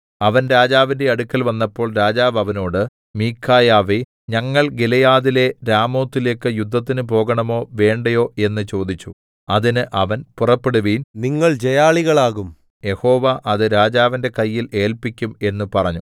അവൻ രാജാവിന്റെ അടുക്കൽ വന്നപ്പോൾ രാജാവ് അവനോട് മീഖായാവേ ഞങ്ങൾ ഗിലെയാദിലെ രാമോത്തിലേക്ക് യുദ്ധത്തിന് പോകണോ വേണ്ടായോ എന്ന് ചോദിച്ചു അതിന് അവൻ പുറപ്പെടുവിൻ നിങ്ങൾ ജയാളികളാകും യഹോവ അത് രാജാവിന്റെ കയ്യിൽ ഏല്പിക്കും എന്ന് പറഞ്ഞു